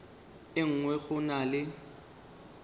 e nngwe go na le